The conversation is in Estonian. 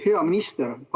Hea minister!